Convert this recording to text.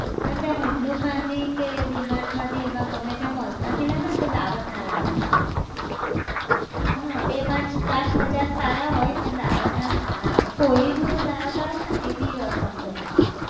પણ ત્યાં handloom માંથી કે d mart માંથી એમાં ગમે ત્યાં mall માંથી લાવેને તો dawat ના લાવાના, હં બે પાંચ, પાંચ પચાસ સારા હોય પણ dawat ના સારા આવે kohinoor dawat આવે છે ને એ બી awesome ચોખા આવે